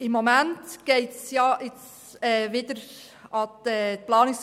Zum Antrag von Grossrätin Speiser: